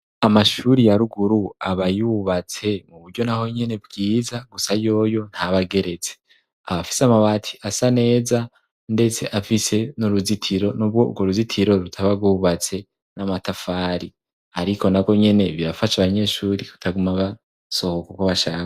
Amashuri ya ruguru aba yubatse mu buryo naho nyene bwiza gusa yoyo ntabageretse, aba afise amabati asa neza ndetse afise n'uruzitiro n'ubwo ubwo ruzitiro rwubatse n'amatafari ariko narwo nyene birafasha abanyeshuri kutaguma basohoka uko bashaka.